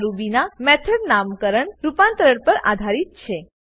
આ રૂબીનાં મેથોડ નામકરણ રુપાંતરણ પર આધારિત છે